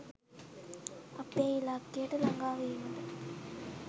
අපේ ඉලක්කයට ලඟා වීමට